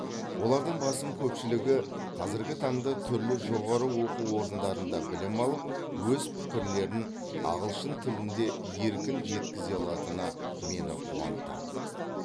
олардың басым көпшілігі қазіргі таңда түрлі жоғары оқу орындарында білім алып өз пікірлерін ағылшын тілінде еркін жеткізе алатыны мені қуантады